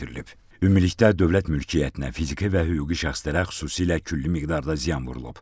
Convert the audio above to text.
Ümumilikdə dövlət mülkiyyətinə, fiziki və hüquqi şəxslərə xüsusilə külli miqdarda ziyan vurulub.